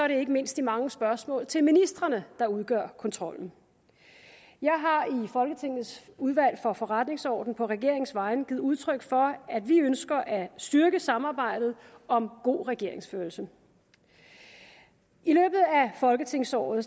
det ikke mindst de mange spørgsmål til ministrene der udgør kontrollen jeg har i folketingets udvalg for forretningsordenen på regeringens vegne givet udtryk for at vi ønsker at styrke samarbejdet om god regeringsførelse i løbet af folketingsåret